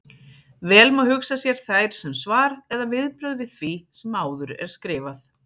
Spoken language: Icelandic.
Vel má hugsa sér þær sem svar eða viðbrögð við því sem áður er skrifað.